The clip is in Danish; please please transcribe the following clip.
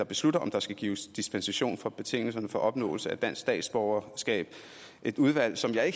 beslutter om der skal gives dispensation fra betingelserne for opnåelse af dansk statsborgerskab et udvalg som jeg